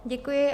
Děkuji.